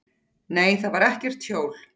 Nei, þar var ekkert hjól.